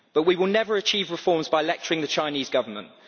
But we will never achieve reforms by lecturing the Chinese Government.